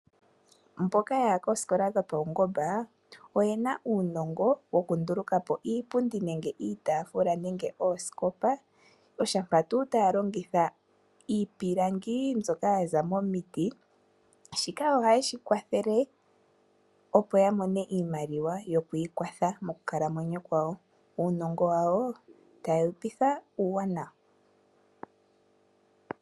Mboka yaya koosikola dhopaungomba oyena uunongo wokunduluka po iipundi nenge iitaafula nenge oosikopa oshampa tuu taya longitha iipilangi mbyoka yaza momiti. Shika ohashi ya kwathele opo ya mone iimaliwa yokwiikwatha mokukalamwenyo kwawo. Uunongo wawo otawu ya petha uuwanawa.